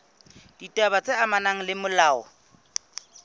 ditaba tse amanang le molao